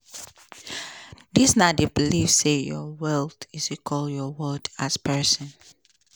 dis na di belief say your wealth equal your worth as pesin.